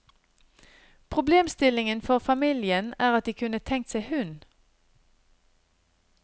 Problemstillingen for familien er at de kunne tenkt seg hund.